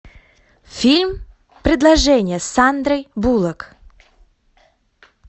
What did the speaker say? фильм предложение с сандрой буллок